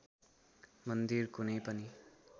मन्दिर कुनै पनि